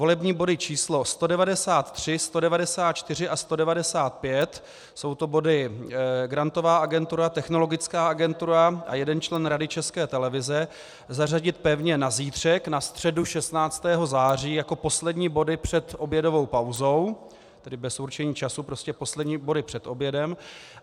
Volební body číslo 193, 194 a 195 - jsou to body Grantová agentura, Technologická agentura a jeden člen Rady České televize - zařadit pevně na zítřek, na středu 16. září, jako poslední body před obědovou pauzou, tedy bez určení času, prostě poslední body před obědem.